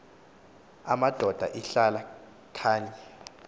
amadoda ihlala kany